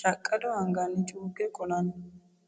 shaqado anganni cukke qolano musi'nonniwa bade lae.